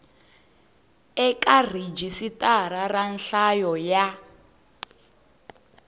eka rhijisitara ra nhlayo ya